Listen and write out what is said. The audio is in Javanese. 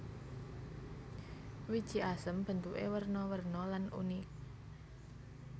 Wiji asem bentuké werna werna lan unik